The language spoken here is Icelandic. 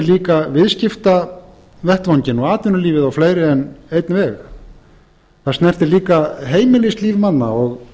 líka viðskiptavettvanginn og atvinnulífið á fleiri en einn veg það snertir líka heimilislíf manna og